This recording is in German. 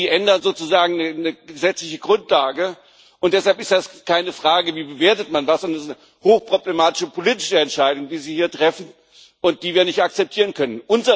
Sie ändern sozusagen eine gesetzliche Grundlage, und deshalb ist das keine Frage, wie man das bewertet, sondern das ist eine hochproblematische politische Entscheidung, die Sie hier treffen und die wir nicht akzeptieren können.